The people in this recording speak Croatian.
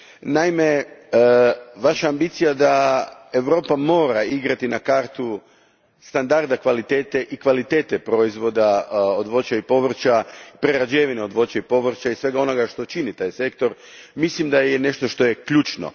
Naime, vaša ambicija da Europa mora igrati na kartu standarda kvalitete i kvalitete proizvoda od voća i povrća, prerađevine od voća i povrća i svega onoga što čini taj sektor, mislim da je nešto što je ključno.